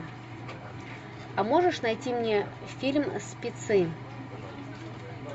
а можешь найти мне фильм спецы